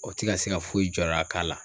O ti ka se ka foyi jɔda k'a la.